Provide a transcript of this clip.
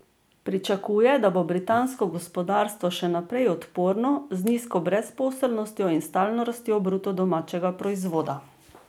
Pričakuje, da bo britansko gospodarstvo še naprej odporno, z nizko brezposelnostjo in stalno rastjo bruto domačega proizvoda.